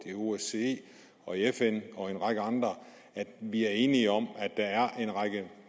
osce fn og en række andre at vi er enige om at der er en række